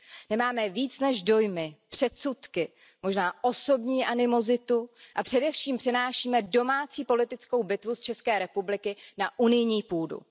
Nemáme víc než dojmy, předsudky, možná osobní animozitu a především přenášíme domácí politickou bitvu z České republiky na unijní půdu.